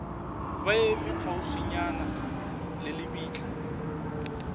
ba eme kgauswinyana le lebitla